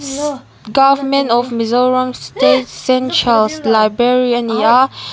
government of mizoram state central library ani a.